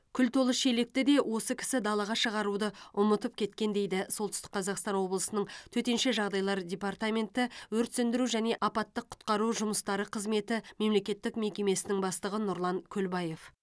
күл толы шелекті де осы кісі далаға шығаруды ұмытып кеткен дейді солтүстік қазақстан облысының төтенше жағдайлар департаменті өрт сөндіру және апаттық құтқару жұмыстары қызметі мемлекеттік мекемесінің бастығы нұрлан көлбаев